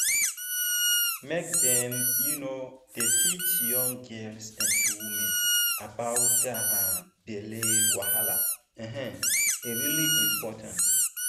make dem um dey teach young girls and women about that um belly wahala um e really important